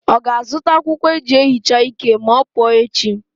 Ọ ga-azụta akwụkwọ eji ehicha ike ma ọ pụọ echi?